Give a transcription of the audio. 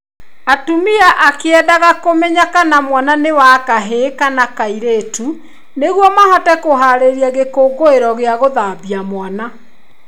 Atumia a kĩrĩendaga kũmenya kana mwana nĩ wa kahĩĩ kana kairĩtu nĩguo mahote kũharĩrĩria gĩkũngũĩro gĩa gũthambia mwana.